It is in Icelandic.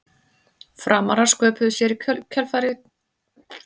Framarar sköpuðu sér í kjölfarið hættuleg færi en án árangurs.